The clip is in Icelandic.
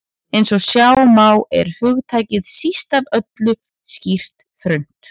Eins og sjá má er hugtakið síst af öllu skýrt þröngt.